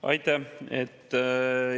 Aitäh!